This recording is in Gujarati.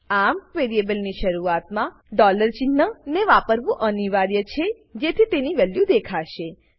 આમ વેરીએબલની શરૂઆતમાં ડોલર sign ને વાપરવું અનિવાર્ય છેજેથી તેની વેલ્યુ દેખાશે